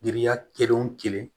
Giriya kelen o kelen